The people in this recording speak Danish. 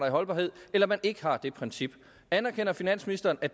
i holdbarhed eller den ikke har det princip anerkender finansministeren at